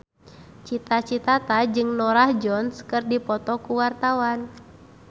Cita Citata jeung Norah Jones keur dipoto ku wartawan